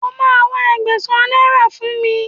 O máa wá Ẹgbẹ̀sán náírà fún mi.